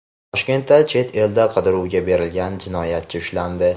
Toshkentda chet elda qidiruvga berilgan jinoyatchi ushlandi.